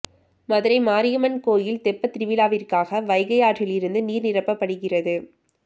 மதுரை மாரியம்மன் கோயில் தெப்பத்திருவிழாவிற்காக வைகை ஆற்றில் இருந்து நீர் நிரப்பப்படுகிறது